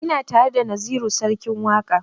Ina tare da naziru sarkin waƙa